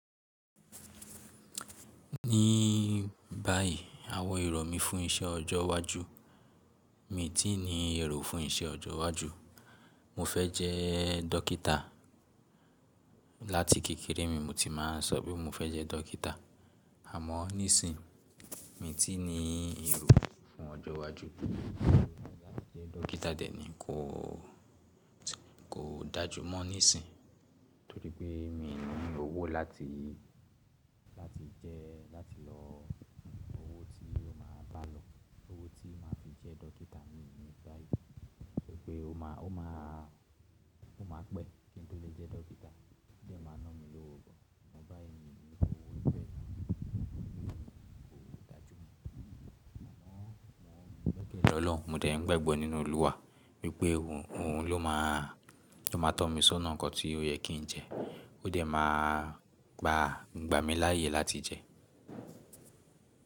Ní báyìí àwọn èrò mí fún iṣẹ́ ọjọ́ iwájú, mi ti ní èrò fún iṣẹ́ ọjọ́ iwájú. Mo fẹ́ jẹ́ dókítà. Láti kékeré mi mo ti máa ń sọ pé mo fẹ́ jẹ́ dókítà. Àmọ́ nísìí, mi ti ní èrò fún ọjọ́ iwájú láti jẹ́ dókítà dè ní kò, kò dájú mọ́ nísìí, torí pé mi ò ní owó láti, láti jẹ́, láti lọ. Owó tí ó máa bá lọ, owó tí màá fi jẹ́ dókítà mi ò ní báyìí. Nítorí pé ó máa, ó máa pẹ́ kí n tó lè jẹ́ dókítà. Ó jẹ́ màá ná mi lówó gan. Àmọ́ báyìí mi ò ní owó ìfẹ́, kò dájú mọ́. Àmọ́ mo mọ̀ pé Ọlọ́run, mo dàí gbàgbọ́ nínú Olúwa wípé òun ló máa tó máa tọ́ mi sọ́nà nǹkan tí ó yẹ kí n jẹ. Ó dàí máa gba mi láàyè láti jẹ.